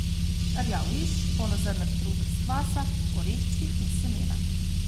Rjav riž, polnozrnat kruh brez kvasa, oreščki in semena.